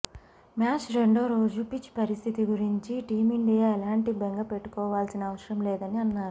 match రెండో రోజు pitch పరిస్థితి గురించి టీమిండియా ఎలాంటి బెంగ పెట్టుకోవాల్సిన అవసరం లేదని అన్నారు